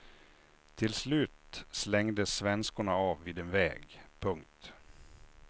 Till slut slängdes svenskorna av vid en väg. punkt